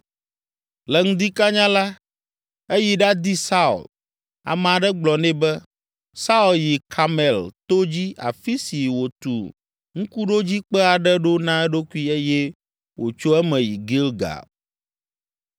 Le ŋdi kanya la, eyi ɖadi Saul; ame aɖe gblɔ nɛ be, “Saul yi Karmel to dzi afi si wòtu ŋkuɖodzikpe aɖe ɖo na eɖokui eye wòtso eme yi Gilgal.”